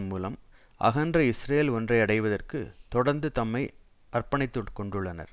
மூலம் அகன்ற இஸ்ரேல் ஒன்றை அடைவதற்கு தொடர்ந்து தம்மை அர்ப்பணித்து கொண்டுள்ளனர்